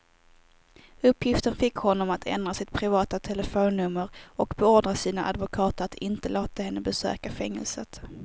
Uppgiften fick honom att ändra sitt privata telefonnummer och beordra sina advokater att inte låta henne besöka fängelset.